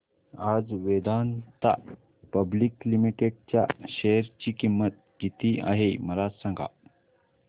आज Vedanta public limited च्या share ची किंमत किती आहे मला सांगा